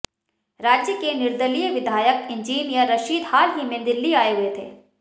राज्य के निर्दलीय विधायक इंजीनियर रशीद हाल ही में दिल्ली आए हुए थे